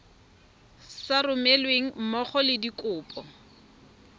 sa romelweng mmogo le dikopo